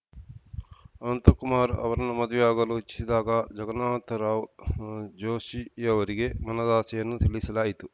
ಅನಂತಕುಮಾರ್‌ ಅವರನ್ನು ಮದುವೆಯಾಗಲು ಇಚ್ಛಿಸಿದಾಗ ಜಗನ್ನಾಥರಾವ್‌ ಜೋಷಿಯವರಿಗೆ ಮನದಾಸೆಯನ್ನು ತಿಳಿಸಲಾಯಿತು